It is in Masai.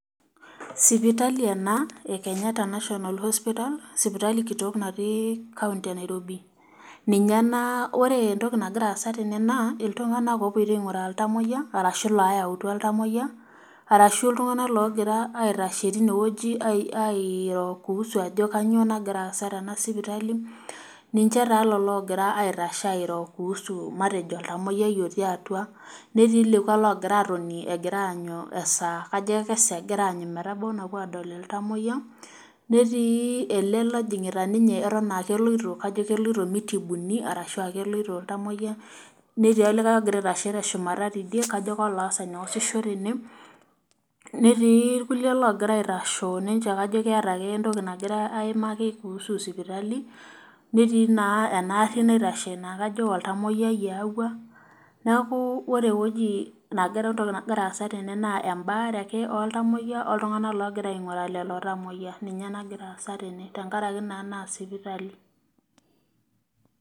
Sipitali ena ee kenyatta national hospital sipitali kitok natii county enairobi ,ninye ena ore entoki nagira aasa tene naa iltunganak opoitoi ainguraa iltamoyiak orashu looyautua iltamoyiak orashu iltunganak ogira aitashe tine weji airoo kuusu ajo kainyo nagira aasa tena sipitali. niche taa lelo ogira aitashe airoo kuusu matejo oltamoyiai otii atua ,netii lekwa ogira atoni aanyu esaa napuo aadol iltamoyiak ,netii ele ojingita ninye kajo keloito mitibuni orashu keloito ,netii ologira aitashe tene kajo kolooasisho tene ,netii irkulie loogira aitashoo kajo keeta ake entoki nagirae aimaki kuhusu sipitali. netii naa ena gari naitashe naa kajo oltamoyiai eyaua ,neeku ore entoki nagira aasa tene naa embaare ake oltamoyiak oltunganak ogira ainguraa lelo tamoyiak ninye nagira aasa tene tenkaraki naa nasipitali.